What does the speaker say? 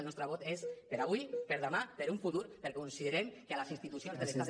el nostre vot és per avui per demà per un futur perquè considerem que a les institucions de l’estat